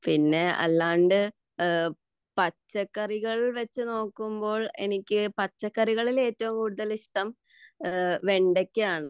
പിന്നെ പച്ചക്കറികൾ വച്ചുനോക്കുമ്പോൾ എനിക്ക് പച്ചക്കറികളിൽ ഏറ്റവും ഇഷ്ടം വെണ്ടയ്ക്ക ആണ്